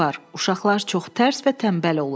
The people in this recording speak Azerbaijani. Uşaqlar çox tərs və tənbəl olur.